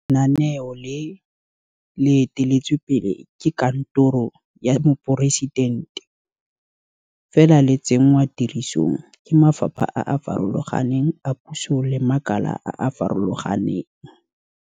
Ba bangwe ba fentse dikgetse tseo fa ba bangwe bona ba reteletswe. Re batla gore maAforika Borwa otlhe e nne karolo ya dikgato tseno tsa ka fa nageng.